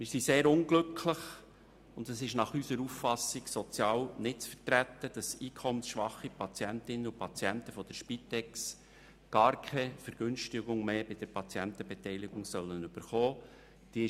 Wir sind sehr unglücklich darüber, und es ist sozial nicht zu vertreten, dass einkommensschwache Patientinnen und Patienten von der Spitex gar keine Vergünstigung bei der Patientenbeteiligung mehr bekommen sollen.